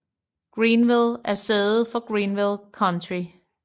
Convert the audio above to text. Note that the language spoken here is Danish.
Greenville er sæde for Greenville County